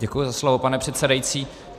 Děkuji za slovo, pane předsedající.